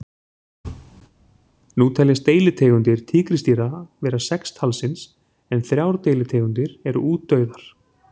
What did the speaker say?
Nú teljast deilitegundir tígrisdýra vera sex talsins en þrjár deilitegundir eru útdauðar.